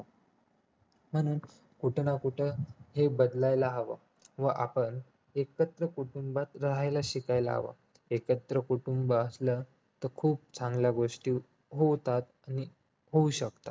म्हणून कुठे ना कुठे हे बदलायला हवं व आपण एकत्र कुटुंबात रहायला शिकायला हवं एकत्र कुटुंब असलं तर खूप चांगल्या गोष्टी होतात आणि होऊ शकतात